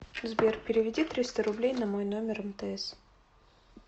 сбер переведи триста рублей на мой номер мтс